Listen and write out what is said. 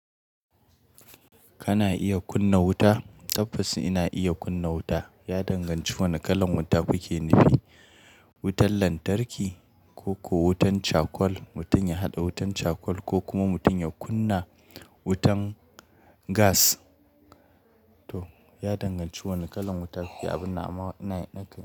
Kana iya kunna wuta? Tabbas ina iya kunna wuta. Ya danganci wane kalar wuta kuke nufi. Wutan lantarki ko ko wutan cakwal. Mutum ya haɗa wutan cakwal ko kuma mutum ya kunna wutan gas. To, ya danganci wane kalar wuta kuke abin nan ama ina nakan.